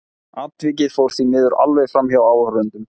Atvikið fór því miður alveg framhjá áhorfendum.